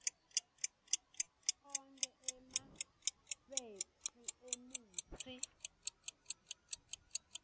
onkhe emafekthri emitsi